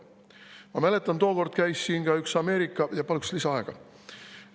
Ma mäletan, tookord käis siin ka üks Ameerika …